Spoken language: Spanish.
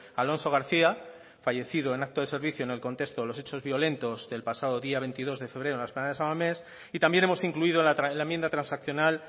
alonso garcía fallecido en acto de servicio en el contexto de los hechos violentos del pasado día veintidós de febrero en la explanada de san mames y también hemos incluido en la enmienda transaccional